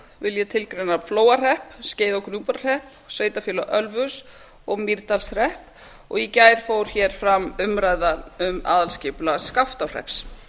vil ég tilgreina flóahrepp skeiða og gnúpverjahrepp sveitarfélagið ölfus og mýrdalshrepp og í gær fór fram umræða um aðalskipulag skaftárhrepps